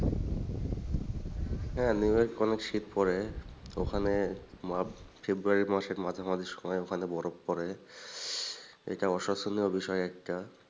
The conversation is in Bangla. হ্যাঁ New York অনেক শীত পড়ে ওখানে february মাসের মাঝামাঝি সময়ে ওখানে বরফ পরে এটা অসচনীয় বিষয় একটা।